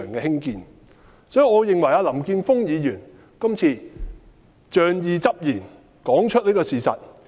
所以，我認為林健鋒議員今次說出事實是仗義執言。